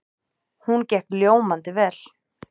Hún gekk ljómandi vel.